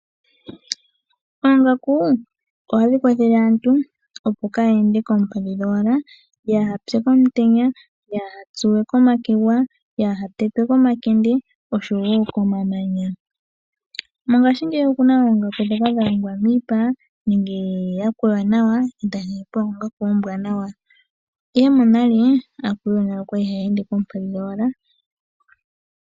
Oongaku ohadhi kwathele aantu opo kaa ya ende koompadhi dhowala opo kaaya pye komutenya, kaaya tsuwe komakegwa, kaya tetwe komakende noku ya gamena komamanya. Mongaashingeyi oku na oongaku dhoka dha longwa miipa ihe monale aantu oya li haa ende koompadhi dhowala.